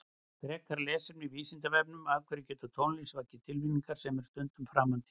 Frekara lesefni á Vísindavefnum Af hverju getur tónlist vakið tilfinningar sem eru stundum framandi?